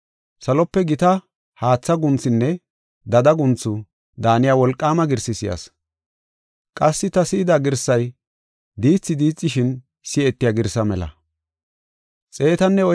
Salope gita haatha guunthunne dada guunthu daaniya wolqaama girsi si7as. Qassi ta si7ida girsay diithi diixishin si7etiya girsaa mela.